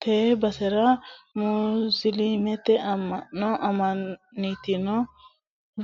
tee basera musiliimete amma'no amma'nitino